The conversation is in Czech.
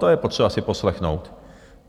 To je potřeba si poslechnout.